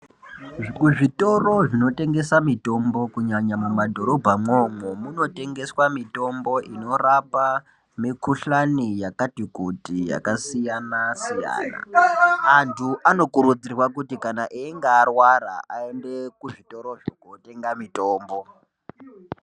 Kuzvitoro zvinotengesa mitombo kunyanya mumadhorobha mwomwo munotengeswa mitombo inorapa mikuhlani yakati kuti yakasiyana-siyana. Antu anokurudzirwa kuti kana einga arwara aende kuzvitorozvo kotenga mitombo.